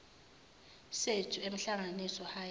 sethu emhlanganiso high